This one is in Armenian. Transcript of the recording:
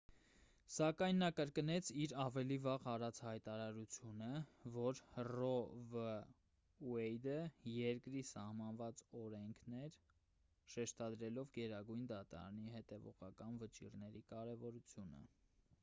սակայն նա կրկնեց իր ավելի վաղ արած հայտարարությունը որ ռո վ ուեյդը երկրի սահմանված օրենքն էր շեշտադրելով գերագույն դատարանի հետևողական վճիռների կարևորությունը